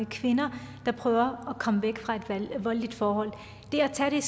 kvinder der prøver at komme væk fra et voldeligt forhold det at tage det